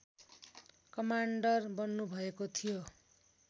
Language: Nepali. कमान्डर बन्नुभएको थियो